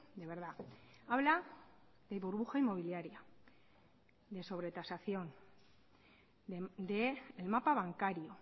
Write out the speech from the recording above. de verdad habla de burbuja inmobiliaria de sobretasación del mapa bancario